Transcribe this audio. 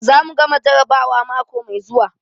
Za mu gama jarrabawa mako mai zuwa.